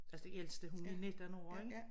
Altså den ældste hun er 19 år ik